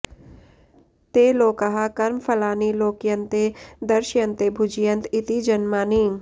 ते लोकाः कर्मफलानि लोक्यन्ते दृश्यन्ते भुज्यन्त इति जन्मानि